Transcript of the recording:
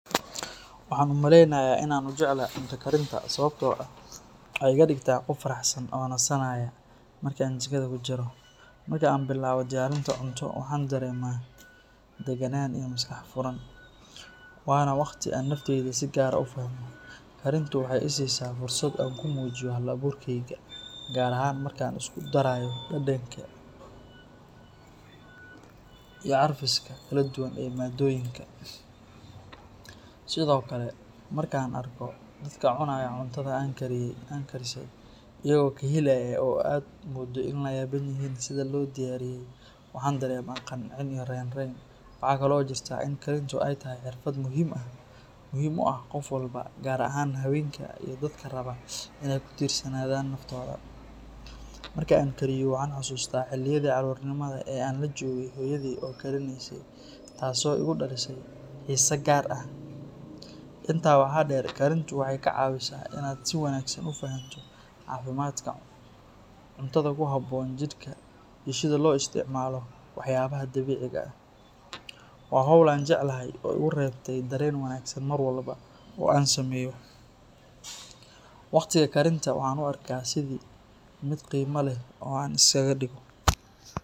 Waxaan u maleynayaa in aan u jeclahay cunto karinta sababtoo ah waxay iga dhigtaa qof faraxsan oo nasanaya marka aan jikada ku jiro. Marka aan bilaabo diyaarinta cunto, waxaan dareemaa degganaan iyo maskax furan, waana wakhti aan naftayda si gaar ah u fahmo. Karintu waxay i siisaa fursad aan ku muujiyo hal abuurkayga, gaar ahaan marka aan isku darayo dhadhanka iyo carfiska kala duwan ee maaddooyinka. Sidoo kale, marka aan arko dadka cunaya cuntada aan karisay iyagoo ka helaya oo aad mooddo in ay la yaaban yihiin sida loo diyaariyay, waxaan dareemaa qancin iyo raynrayn. Waxaa kaloo jirta in karintu ay tahay xirfad muhiim u ah qof walba, gaar ahaan haweenka iyo dadka raba inay ku tiirsanaadaan naftooda. Marka aan karinaayo, waxaan xasuustaa xilliyadii carruurnimada ee aan la joogay hooyaday oo karineysay, taasoo igu dhalisay xiise gaar ah. Intaa waxaa dheer, karintu waxay kaa caawisaa in aad si wanaagsan u fahanto caafimaadka, cuntada ku habboon jidhkaaga, iyo sida loo isticmaalo waxyaabaha dabiiciga ah. Waa hawl aan jecelahay oo igu reebta dareen wanaagsan mar walba oo aan sameeyo. Waqtiga karinta waxaan u arkaa sidii mid qiimo leh oo aan isaga dhigo.